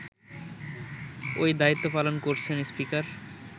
ওই দায়িত্ব পালন করছেন স্পিকার